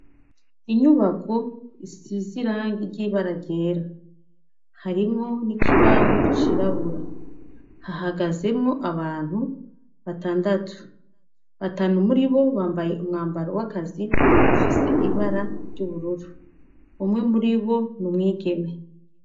Inyubako isize irangi ry'ibara ryera. Harimwo n'ikibaho cirabura. Hahagazemwo abantu batandatu. Batanu muri bo, bambaye umwambaro w'akazi ufise ibara ry'ubururu. Umwe muri bo ni umwigeme.